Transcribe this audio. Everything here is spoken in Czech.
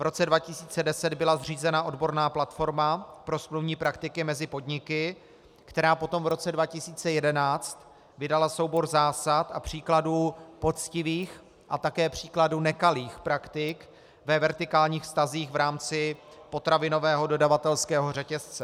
V roce 2010 byla zřízena odborná platforma pro smluvní praktiky mezi podniky, která potom v roce 2011 vydala soubor zásad a příkladů poctivých a také případů nekalých praktik ve vertikálních vztazích v rámci potravinového dodavatelského řetězce.